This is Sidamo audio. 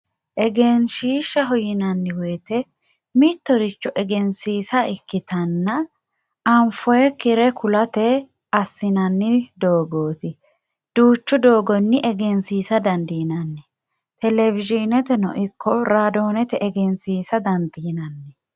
Egenshiishshaho yinanni woyte mittoricho egensiissa ikkittanna anfonikkire ku'late assinanni doogoti duuchu doogonni egensiisa dandiinanni telewishineteno ikko radoneteno egensiisa dandiinanni.